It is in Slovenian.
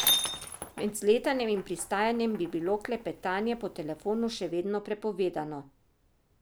Med vzletanjem in pristajanjem bi bilo klepetanje po telefonu še vedno prepovedano.